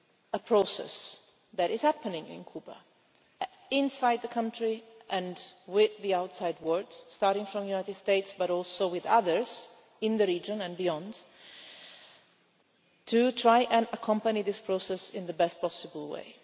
a process that is happening in Cuba inside the country and with the outside world, starting from the United States, but also with others in the region and beyond to try to accompany this process in the best possible way.